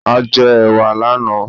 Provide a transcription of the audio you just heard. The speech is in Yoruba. A jẹ ẹ̀wà lànáà